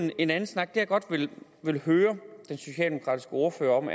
en anden snak det jeg godt vil høre den socialdemokratiske ordfører om